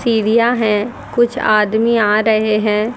सीढ़ियां हैं कुछ आदमी आ रहे हैं।